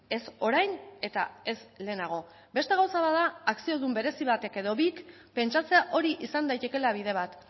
ez orain eta ez lehenago beste gauza bat da akziodun berezi batek edo bik pentsatzea hori izan daitekeela bide bat